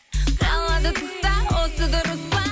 қалады тұста осы дұрыс па